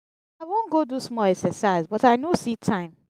i wan go do small exercise but i no see time.